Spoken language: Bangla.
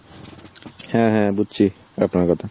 হ্যাঁ হ্যাঁ বুজছি আপনার কথা।